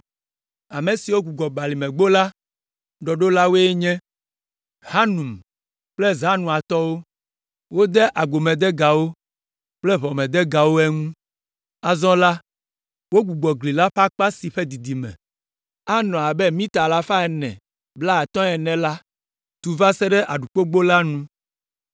Ame siwo gbugbɔ Balimegbo la ɖɔɖola woe nye Hanun kple Zanoatɔwo. Wode agbomedegawo kple ʋɔmedegawo eŋu. Azɔ la, wogbugbɔ gli la ƒe akpa si ƒe didime anɔ abe mita alafa ene blaatɔ̃ ene la tu va se ɖe Aɖukpogbo la nu.